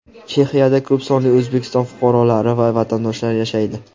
Chexiyada ko‘p sonli O‘zbekiston fuqarolari va vatandoshlar yashaydi.